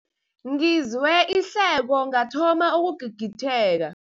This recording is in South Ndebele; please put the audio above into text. Ngizwe ihleko ngathoma ukugigitheka.